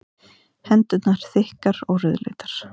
Hendurnar þykkar og rauðleitar.